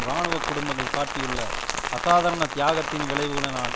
இராணுவ குடும்பங்கள் காட்டியுள்ள அசாதாரண தியாகத்தின் விளைவினால்